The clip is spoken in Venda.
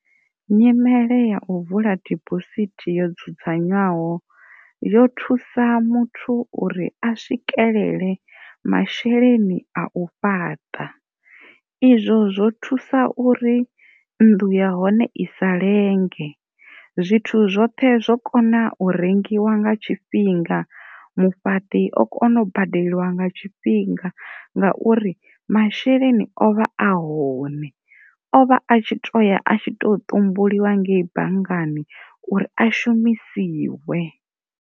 Nyimele ya u vula dibosithi yo dzudzanywaho yo thusa muthu uri a swikelele masheleni a u fhaṱa izwo zwo thusa uri nnḓu ya hone i sa lenge zwithu zwoṱhe zwo kona u rengiwa nga tshifhinga, mufhaṱi o kona u badeliwa nga tshifhinga ngauri masheleni o vha a hone o vha tshi toya a tshi to ṱumbuliwa ngei banngani uri a shumisiwe.